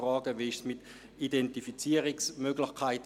Wie verhält es sich mit Identifizierungsmöglichkeiten?